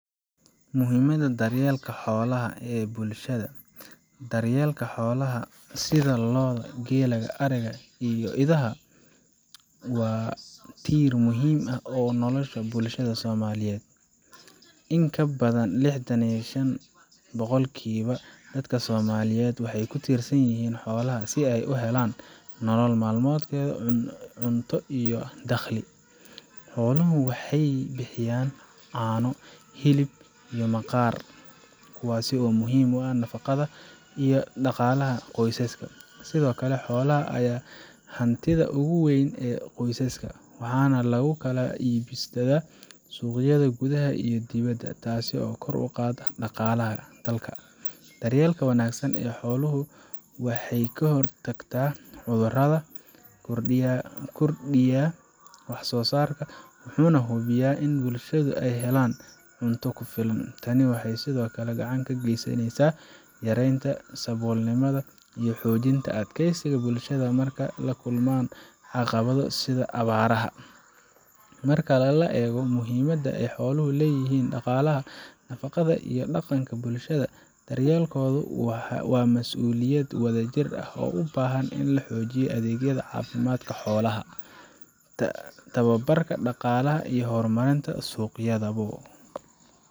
Muhiimadda Daryeelka Xoolaha ee Bulshada Daryeelka xoolaha, sida lo’da, geela, ariga, iyo idaha, waa tiir muhiim u ah nolosha bulshada Soomaaliyeed. In ka badan lixdan iyo shan boqolkiiba dadka Soomaaliyeed waxay ku tiirsan yihiin xoolaha si ay u helaan nolol maalmeedkooda, cunto, iyo dakhli. Xooluhu waxay bixiyaan caano, hilib, iyo maqaar, kuwaas oo muhiim u ah nafaqada iyo dhaqaalaha qoysaska. Sidoo kale, xoolaha ayaa hantida ugu weyn ee qoysaska, waxaana lagu kala iibsadaa suuqyada gudaha iyo dibadda, taas oo kor u qaadda dhaqaalaha dalka. Daryeelka wanaagsan ee xoolahu wuxuu ka hortagaa cudurrada, kordhiyaa wax-soosaarka, wuxuuna hubiyaa in bulshada ay helaan cunto ku filan. Tani waxay sidoo kale gacan ka geysaneysaa yareynta saboolnimada iyo xoojinta adkeysiga bulshada marka ay la kulmaan caqabado sida abaaraha. Marka la eego muhiimadda ay xooluhu u leeyihiin dhaqaalaha, nafaqada, iyo dhaqanka bulshada, daryeelkooda waa mas'uuliyad wadajir ah oo u baahan in la xoojiyo adeegyada caafimaadka xoolaha, tababarka dhaqaalaha, iyo horumarinta suuqyada bo.